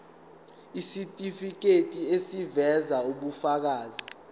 isitifiketi eziveza ubufakazi